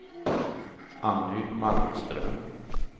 Anny Malmström